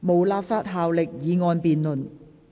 無立法效力的議案辯論。